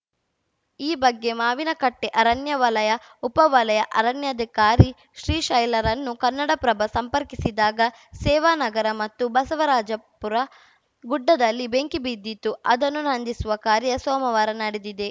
ಈ ಬಗ್ಗೆ ಮಾವಿನ ಕಟ್ಟೆಅರಣ್ಯ ವಲಯ ಉಪ ವಲಯ ಅರಣ್ಯಾಧಿಕಾರಿ ಶ್ರೀಶೈಲರನ್ನು ಕನ್ನಡಪ್ರಭ ಸಂಪರ್ಕಿಸಿದಾಗ ಸೇವಾನಗರ ಮತ್ತು ಬಸವರಾಜಪುರ ಗುಡ್ಡದಲ್ಲಿ ಬೆಂಕಿ ಬಿದ್ದಿತ್ತು ಅದನ್ನು ನಂದಿಸುವ ಕಾರ್ಯ ಸೋಮವಾರ ನಡೆದಿದೆ